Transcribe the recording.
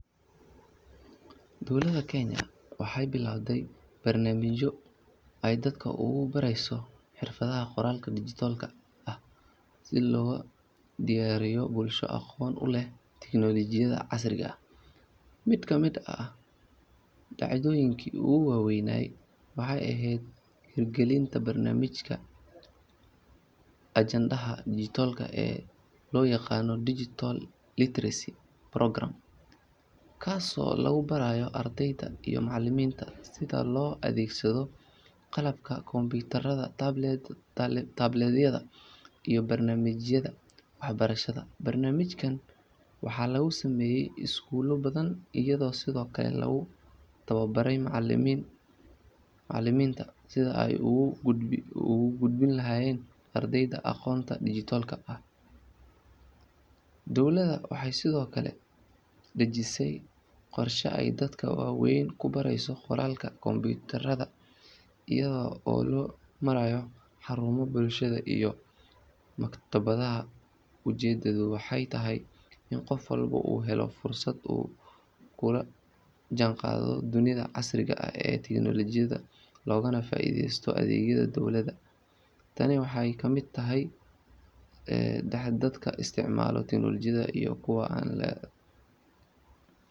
Dowlada kenya waxay bilabte barnamijyo aay dadka ogu bareyso xirfadaha qoralka digitolka ah sii logadiyariyo bulsho aqon uleh teknolojiyada casriga eh mid kamid ah, dacdoyinka ogu waweynay waxay ehed hirgalinta baramijka ajendaha dijitolka ee loyaqano digital ilitrecy programe, kasi oo lagu barayoh ardeyda iyoh macaliminta sidha loo adegsado qalabka kompitarada tabletyadha iyo barnamijada, barnamijkan waxa lagu sameye iskulo badhan iyadho sidiokale lagu tawa bare, macalimin, macaliminta sidha aay ogu gudbini lahayen ardeyda aqonta digitolka dowlada waxay sidiokale xaqijise qorsho aay dadka waweyn kubareyso qoralka kompitarada iyadha oo lomarayo xarumaha bulshada iyoh maktabada ujedada, waxay tahay ini qoof walbo uu helo fursad uu kula janqado dunida casriga ah ee teknolojiyada loganah faideysto adegyada dowlada tani waxay kamid tahay dadka istacmala teknolojiyada iyo kuwa an leheyn.